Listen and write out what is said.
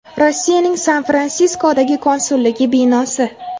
Rossiyaning San-Fransiskodagi konsulligi binosi.